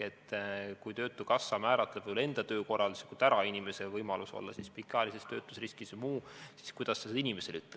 Kui töötukassa määratleb töökorralduslikult ära inimese võimaluse jääda pikaajalisse töötusriski või midagi muud, siis kuidas sa seda inimesele ütled.